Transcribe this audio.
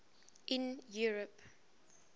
in europe